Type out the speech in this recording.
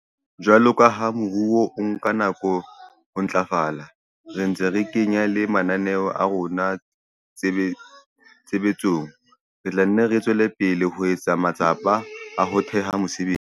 Jwalo ka ha moruo o nka nako ho ntlafala, re ntse re kenya le mananeo a rona tshebetsong, re tla nne re tswele pele ho etsa matsapa a ho theha mesebetsi.